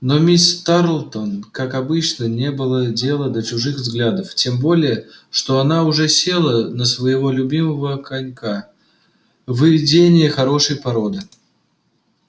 но миссис тарлтон как обычно не было дела до чужих взглядов тем более что она уже села на своего любимого конька выведение хорошей породы